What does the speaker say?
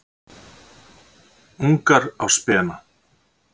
Ungar á spena.